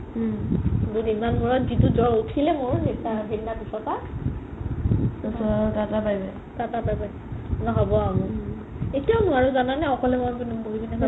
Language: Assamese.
উম দুদিনমান মোৰত যিতো জ'ৰ উথিলে মোৰ সেদিনা পিছৰ পা তাতা bye bye হ'ব আৰু মোৰ এতিয়াও নোৱাৰো জানা নে একলে একলে বহি কিনে চাব